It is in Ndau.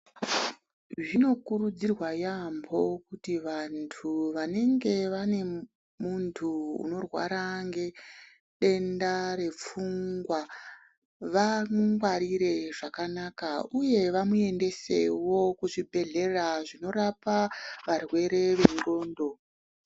Zvinokurudziirwa yaambo kuti vantu vanenge vane muntu unorwara ngedenda repfungwa vamungwarire zvakanaka uye vamuendesewo kuzvibhedhlera zvinorapa varwere venhlondo.